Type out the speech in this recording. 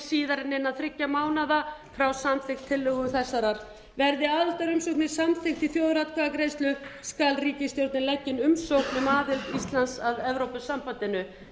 en innan þriggja mánaða frá samþykkt tillögu þessarar verði aðildarumsókn samþykkt í þjóðaratkvæðagreiðslu skal ríkisstjórnin leggja inn umsókn um aðild íslands að evrópusambandinu